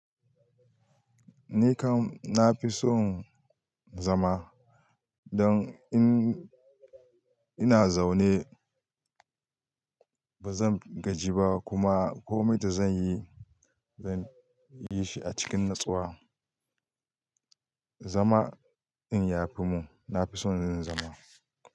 Ni kam na fi son zama don in ina zaune ba zan gaji ba kuma ko me ta zan yi, zan yi shi a cikin natsuwa. Zama in yafi mu, na fi son yin zama.